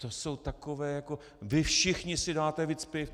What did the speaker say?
To jsou takové jako vy všichni si dáte víc piv!